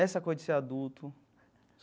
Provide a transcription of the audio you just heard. Essa coisa de ser adulto.